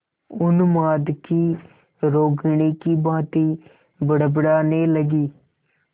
उन्माद की रोगिणी की भांति बड़बड़ाने लगी